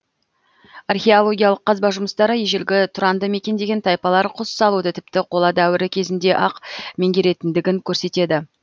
археологиялық қазба жұмыстары ежелгі тұранды мекендеген тайпалар құс салуды тіпті қола дәуірі кезінде ақ меңгергендігін көрсетеді